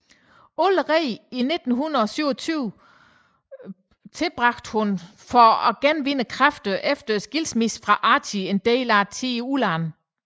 Allerede i 1927 tilbragte hun for at genvinde kræfterne efter skilsmissen fra Archie en del tid i udlandet